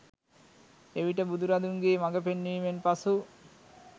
එවිට බුදු රදුන්ගේ මඟ පෙන්වීමෙන් පසු